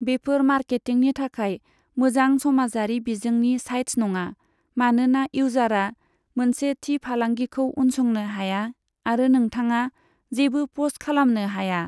बेफोर मार्केटिंनि थाखाय मोजां समाजारि बिजोंनि साइट्स नङा, मानोना इउजारा मोनसे थि फालांगिखौ उनसंनो हाया आरो नोंथाङा जेबो प'स्ट खालामनो हाया।